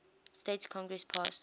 states congress passed